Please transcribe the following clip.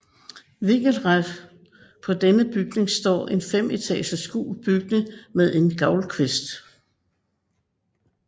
Vinkelret på denne bygning står en femetages gul bygning med en gavlkvist